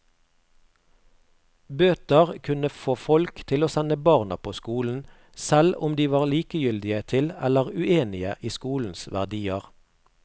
Bøter kunne få folk til å sende barna på skolen, selv om de var likegyldige til eller uenige i skolens verdier.